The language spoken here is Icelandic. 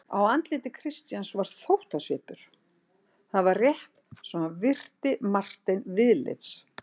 Á andliti Christians var þóttasvipur: það var rétt svo hann virti Martein viðlits.